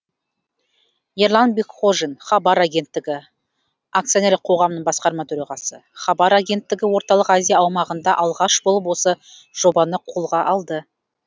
ерлан бекхожин хабар агенттігі акционерлік қоғамның басқарма төрағасы хабар агенттігі орталық азия аумағында алғаш болып осы жобаны қолға алды